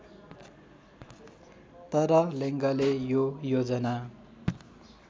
तर लेङ्गले यो योजना